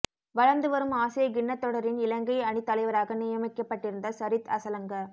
வளர்ந்து வரும் ஆசிய கிண்ணத்தொடரின் இலங்கை அணித் தலைவராக நியமிக்கப்பட்டிருந்த சரித் அசலங்க